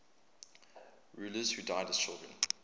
rulers who died as children